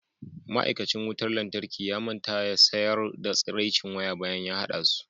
ma'aikacin wutar lantarki ya manta ya sayar da tsiraicin waya bayan ya hada su